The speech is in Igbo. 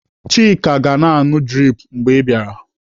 Chika ga-na anụ drip mgbe ị bịara.